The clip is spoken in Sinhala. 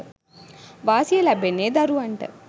වාසිය ලැබෙන්නේ දරුවන්ට.